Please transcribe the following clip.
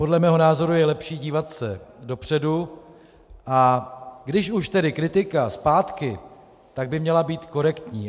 Podle mého názoru je lepší dívat se dopředu, a když už tedy kritika zpátky, tak by měla být korektní.